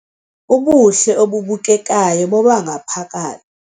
Ubuhle obubukekayo bobangaphaka